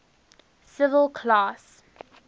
civil class